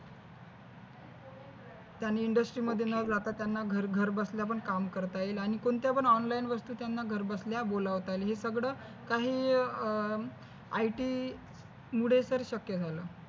त्याने industry मध्ये न जाता त्यांना घर बसल्या पण काम करता येईल आणि कोणत्यापन online वस्तू त्याना बोलावता येईल हे सगळं काही IT मुले तर शक्य झालं